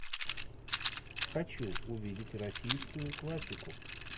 хочу увидеть российскую классику